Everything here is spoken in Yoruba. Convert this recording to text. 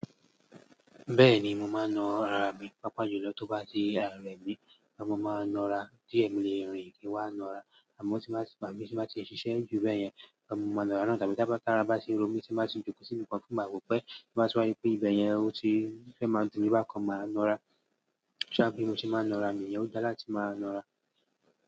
Bẹ́ẹ̀ni, mo máa ń na ara mi. Pápá jù lọ tó bá ti ara rẹ̀ mì, ọmọ máa ń na ara. Tí èmi lè rìn mo wá na ara, àmọ́ ti ba máa ti ń ba ṣiṣẹ́ ju bẹ́ẹ̀ yẹn, ọmọ máa ń na ara náà. Tàbí tí ara bá ṣe ń ro mí ṣe má sì jókòó síbi kan tí mo bá rò pé máa túrá pé ìbẹ́ yẹn ó ti fẹ́ máa dùnni bákan máa na ara. Ṣa bí mo ti máa ń na ra mi, ò dá láti máa na ara.